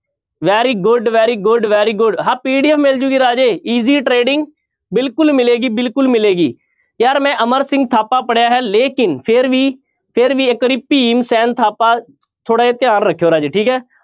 Very good, very good, very good ਹਾਂ PDF ਮਿਲ ਜਾਏਗੀ ਰਾਜੇ easy trading ਬਿਲਕੁਲ ਮਿਲੇਗੀ ਬਿਲਕੁਲ ਮਿਲੇਗੀ, ਯਾਰ ਮੈਂ ਅਮਰ ਸਿੰਘ ਥਾਪਾ ਪੜ੍ਹਿਆ ਹੈ ਲੇਕਿੰਨ ਫਿਰ ਵੀ ਫਿਰ ਵੀ ਇੱਕ ਵਾਰੀ ਭੀਮ ਸੈਨ ਥਾਪਾ ਥੋੜ੍ਹਾ ਜਿਹਾ ਧਿਆਨ ਰੱਖਿਓ ਰਾਜੇ ਠੀਕ ਹੈ।